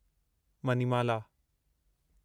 Manimala